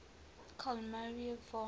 carl maria von